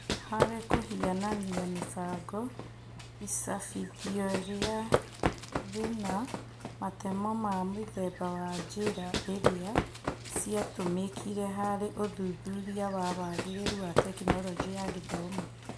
Harĩ kũhianania mũbango, icabithio rĩu rĩna matemo ma mũthemba wa njĩra iria ciatũmĩkire harĩ ũthuthuria wa wagĩrĩru wa Tekinoronjĩ ya Githomo.